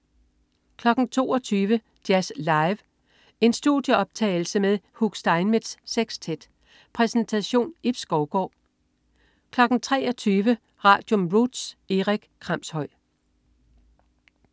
22.00 Jazz Live. En studieoptagelse med Hugh Steinmetz Sextet. Præsentation: Ib Skovgaard 23.00 Radium. Roots. Erik Kramshøj